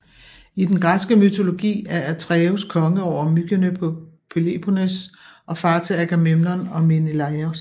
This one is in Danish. I den græske mytologi er Atreus konge over Mykene på Peloponnes og far til Agamemnon og Menelaos